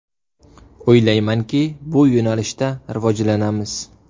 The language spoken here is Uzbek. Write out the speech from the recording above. O‘ylaymanki, bu yo‘nalishda rivojlanamiz”.